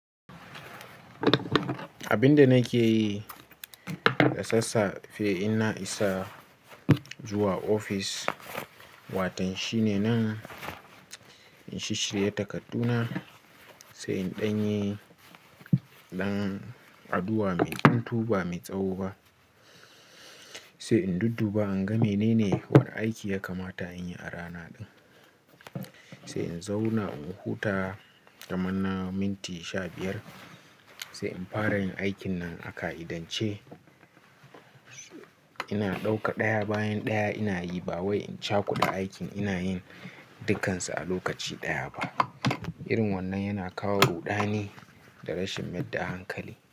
Abin da nake yi da sassafe in na isa zuwa ofis, watan shi ne nan in shishirye takarduna, sai in ɗanye ɗan addu'a mai tuntu ba mai tsawo ba, sai in dudduba in ga menene wani aiki ya kamata in yi a rana din. Sai in zauna in huta kaman na minti sha biyar, sai in fara yin aikin nan a ka'idance. Ina ɗauka ɗaya bayan ɗaya ina yi ba wai in cakuda aikin ina yin dukansu a lokaci ɗaya ba. Irin wannan yana kawo ruɗani da rashin yarda hankali.